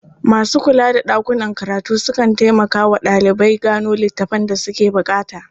Masu kula da ɗakunan karatu sukan taimmaka wa ɗalibai gano littafan da suke buƙata.